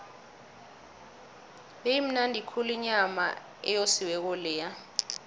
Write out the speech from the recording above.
beyimnandi khulu inyama eyosiweko leya